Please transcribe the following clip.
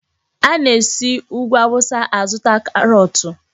Ana-esi Úgwù Awụsa azụta karọọtụ.